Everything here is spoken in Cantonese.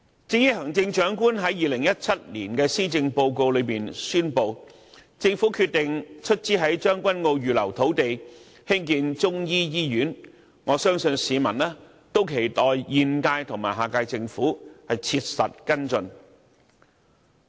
至於行政長官在2017年施政報告中宣布，政府決定出資在將軍澳預留土地興建中醫醫院，我相信市民都期待現屆和下屆政府切實跟進。